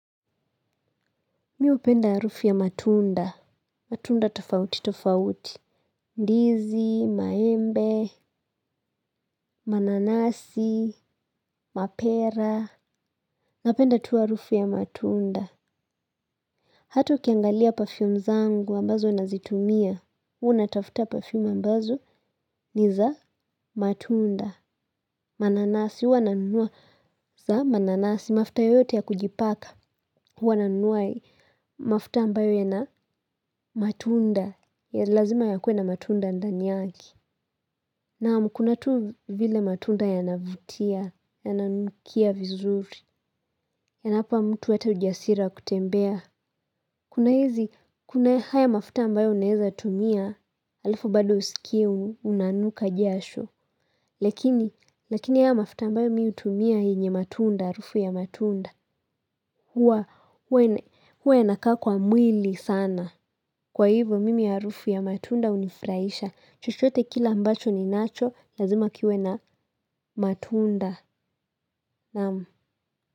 Mimi hupenda harufu ya matunda. Matunda tofauti tofauti. Ndizi, maembe, mananasi, mapera. Napenda tu harufu ya matunda. Hata ukiangalia pafium zangu ambazo nazitumia. Huwa natafuta pafium ambazo ni za matunda. Mananasi, huwa na nunua za mananasi. Mafuta yote ya kujipaka. Huwananunua mafuta ambayo ya na matunda. Lazima ya kuwe na matunda ndani yake na kuna tu vile matunda yanavutia yananukia vizuri. Yanampa mtu hata ujasiri wa kutembea. Kuna hizi, kuna haya mafuta ambayo unaweza tumia. Alafu bado usikie, unanuka jasho. Lakini, lakini haya mafuta ambayo mimi hutumia yenye matunda, harufu ya matunda. Huwa, huwa yanakaa kwa mwili sana. Kwa hivo, mimi harufu ya matunda hunifuraisha. Chochote kila mbacho ni nacho, lazima kiwe na matunda.